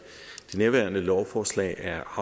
nærværende lovforslag er